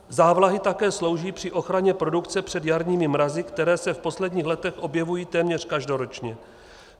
Závlahy také slouží při ochraně produkce před jarními mrazy, které se v posledních letech objevují téměř každoročně.